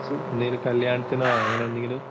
എന്തെങ്കിലും കല്യാണത്തിനോ അങ്ങനെ എന്തെങ്കിലും?